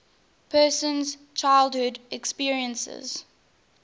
person's childhood experiences